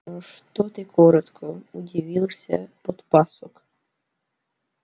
что ты коротко удивился подпасок